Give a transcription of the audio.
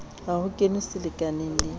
ha ho kenwe selekaneng le